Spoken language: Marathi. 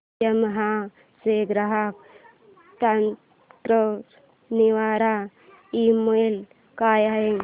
यामाहा चा ग्राहक तक्रार निवारण ईमेल काय आहे